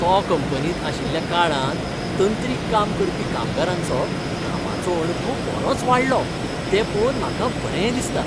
तो कंपनींत आशिल्ल्या काळांत तंत्रीक काम करपी कामगारांचो कामाचो अणभव बरोच वाडलो ते पळोवन म्हाका बरें दिसता.